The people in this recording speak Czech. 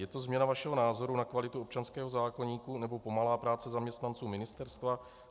Je to změna vašeho názoru na kvalitu občanského zákoníku, nebo pomalá práce zaměstnanců ministerstva?